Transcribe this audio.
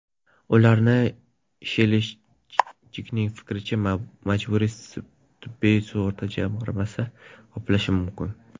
Ularni, Shelishchning fikricha, Majburiy tibbiy sug‘urta jamg‘armasi qoplashi mumkin.